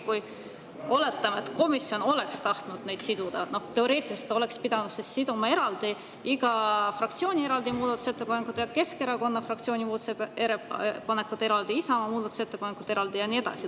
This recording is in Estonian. Kui komisjon oleks tahtnud neid siduda, siis teoreetiliselt ta oleks võinud siduda eraldi iga fraktsiooni muudatusettepanekud: Keskerakonna fraktsiooni muudatusettepanekud eraldi, Isamaa muudatusettepanekud eraldi ja nii edasi.